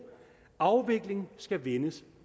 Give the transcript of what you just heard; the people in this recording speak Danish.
afvikling skal vendes